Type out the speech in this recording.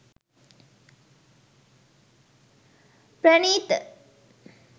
pranitha